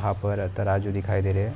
वहा पर तराजू दिखाई दे रहे है